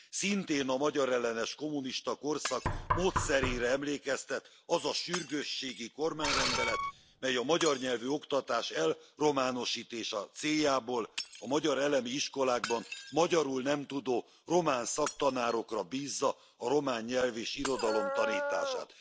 Szintén a magyarellenes kommunista korszak módszerére emlékeztet az a sürgősségi kormányrendelet, mely a magyar nyelvű oktatás elrománosítása céljából a magyar elemi iskolákban magyarul nem tudó román szaktanárokra bízza a román nyelv és irodalom tanítását.